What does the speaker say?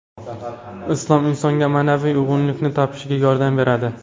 Islom insonga ma’naviy uyg‘unlikni topishiga yordam beradi.